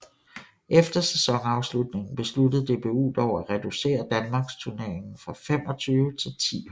Efter sæsonafslutningen besluttede DBU dog at reducere Danmarksturneringen fra 25 til 10 hold